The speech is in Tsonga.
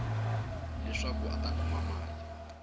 leswaku a ta kuma mali